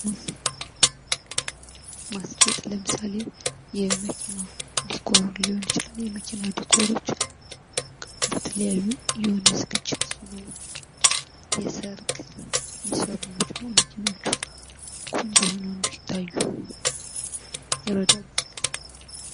ማስጌጥ ለምሳሌ፦ የመኪና ድኮር ሊሆን ይችላል። የመኪና ድኮሮች በተለያዩ፥ የሆነ ዝግጅት ሲኖር፤ የሰርግ የሚሰሩ ናቸው። መኪናዎቹ ቆንጆ ሆነው እንድታዩ ይረዳሉ።